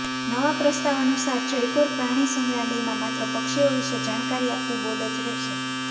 નવા પ્રસ્તાવ અનુસાર જયપુર પ્રાણીસંગ્રહાલયમાં માત્ર પક્ષીઓ વિષે જાણકારી આપતું બોર્ડ જ રહેશે